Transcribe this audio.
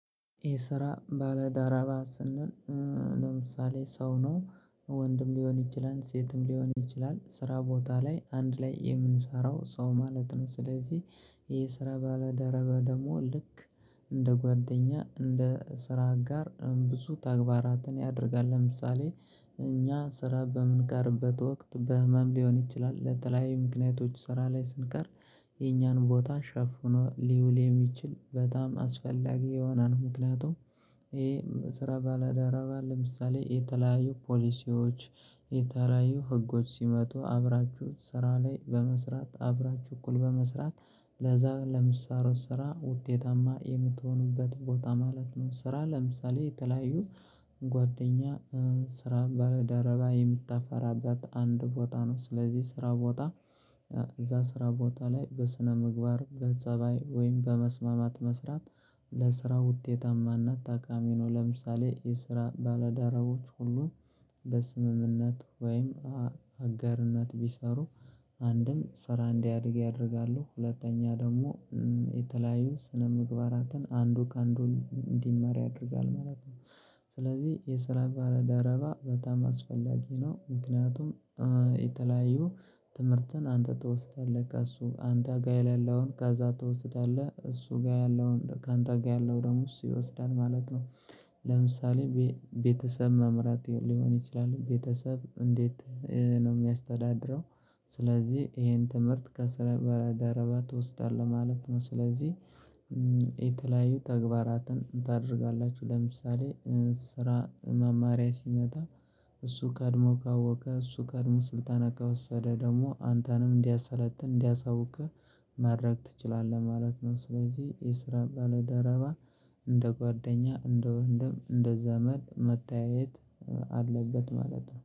የስራ ባለዳረባ ስንል ለምሳሌ ሰው ነው ወንድም ሊሆን ይችላል ሴትም ሊሆን ይችላል ስራ ቦታ ላይ አንድ ላይ የምንሰራው ሰው ማለት ነው። ስለዚህ የስራ ባለደረባ ደግሞ ልክ እንደ ጓደኛ እንደ ስራ አጋር ብዙ ተግባራትን ያደርጋል ለምሳሌ እኛ ስራ በምንቀርበት ወቅት በህመም ሊሆን ይችላል ለተለያዩ ምክንያቶች ስራ ላይ ስንቀር የኛን ቦታ ሸፍኖ ሊውል የሚችል በጣም አስፈላጊ የሆነ ነው። ምክንያቱም ይሄ ስራ ባለደረባ ለምሳሌ የተለያዩ ፖሊሲዎች የተለያዩ ህጎች ሲመጡ ሲመጡ አብራችሁ ስራ ላይ በመስራት አብራችሁ እኩል በመስራት ለዛ ለምትሰሩት ስራ ውጤታማ የምትሆኑበት ቦታ ማለት ነው። ስራ ለምሳሌ የተለያዩ ጓደኛ ስራ ባልደረባ የምታፈራበት አንድ ቦታ ነው። ስለዚህ ስራ ቦታ እዛ ስራ ቦታ ላይ በስነ ምግባር በጸባይ ወይም በመስማማት መስራት ለስራ ውጤታማ እና ጠቃሚ ነው። ለምሳሌ የስራ ባለዳራቦች ሁሉ በስምምነት ወይም አጋርነት ቢሰሩ አንድም ስራ እንዲያድግ ያደርጋሉ። ሁለተኛ ደግሞ የተለያዩ ስነ ምግባራትን አንዱ ከአንዱ እንዲማር ያደርጋል ማለት ነው። ስለዚህ የስራ ባለደረባ በጣም አስፈላጊ ነው። ምክንያቱም የተለያዩ ትምህርትን አንተ ትወስዳለህ ከሱ አንተ ጋር የሌለውን ከዛ ትወስዳለህ እሱ ጋር ያለውን ካንተ ጋር ያለው እሱ ይወስዳል ማለት ነው። ለምሳሌ ቤተሰብ መምራት ሊሆን ይችላል ቤተሰብ እንዴት ነው የሚያስተዳድረው? ስለዚህ ይሄን ትምህርት ከስራ ባልደረባ ትወስዳለህ ማለት ነው። ስለዚህ የተለያዩ ተግባራትን ታደርጋላችሁ ለምሳሌ ስራ መማሪያ ሲመጣ እሱ ቀድሞ ካወቀ እሱ ቀድሞ ስልጠና ከወሰደ ደግሞ አንተንም እንዲያሰለጥን እንዲያሳውቅህ ማድረግ ትችላለህ ማለት ነው። ስለዚህ የስራ ባልደረባ እንደ ጓደኛ እንደ ወንድም እንደ ዘመድ መታየት አለበት ማለት ነው